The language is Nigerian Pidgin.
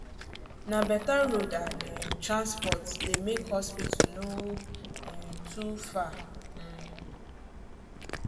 na better road and um transport dey make hospital no um too far. um